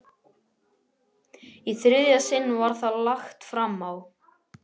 Í þriðja sinn var það lagt fram á